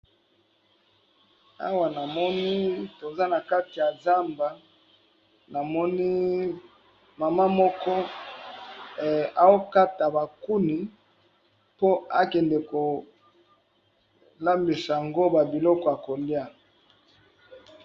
Awa namoni toza nakati ya zamba namoni maman moko azokata ba kuni po akande kolambisa yango biloko yakolya.